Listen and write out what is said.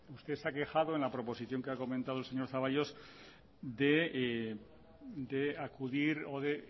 usted se ha quejado en la proposición que ha comentado el señor zaballos de acudir o de